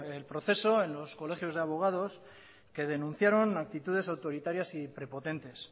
el proceso en los colegios de abogados que denunciaron actitudes autoritarias y prepotentes